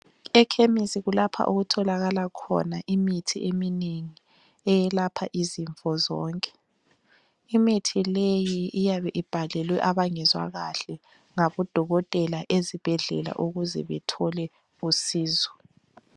Ekhemisi kulapho okutholakala khona imithi eminengi eyelapha izifo zonke. Imithi leyi iyabe ibhalelwe abangezwa kahle ngabodokotela ezibhedlela ukuze bethole usizo.